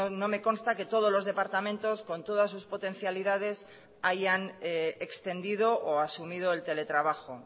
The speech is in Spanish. no me consta que todos los departamentos con todas sus potencialidades hayan extendido o asumido el teletrabajo